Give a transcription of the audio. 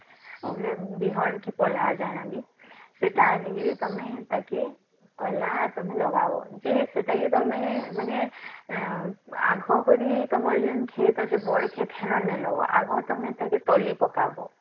ହେଲେ ବିହନ କି ପଲହାଟ ଯାନାବି ସେଟା ଆଣିକିରୀ ତମେ ଟେକ ପହିଲା ତମେ ଲଗାବ ଯେ ସେଟକି ତମେ ମାନେ ଏଁ ଆଗ ଘଋ ତମର ଯେମତି କ୍ଷେତ ଅଛି ବଳିକି ଥିଲେ ନେବ ମ ଆଗେ ତମେ ତାକି ତଲି ପକାବ